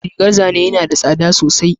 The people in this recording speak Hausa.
Rigar zane yana da tsada sosai